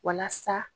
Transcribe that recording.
Walasa